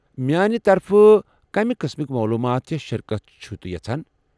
میٛانہ طرفہٕ کمہِ قٕسمکۍ مولوٗمات یا شرکت چھِوٕ تُہۍ یژھان؟